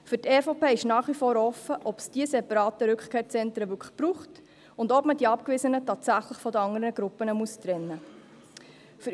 Für die EVP ist nach wie vor offen, ob es diese separaten Rückkehrzentren wirklich braucht und ob man die Abgewiesenen tatsächlich von den anderen Gruppen trennen muss.